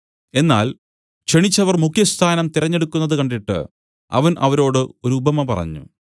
എന്നാൽ ക്ഷണിച്ചവർ മുഖ്യസ്ഥാനം തിരഞ്ഞെടുക്കുന്നത് കണ്ടിട്ട് അവൻ അവരോട് ഒരുപമ പറഞ്ഞു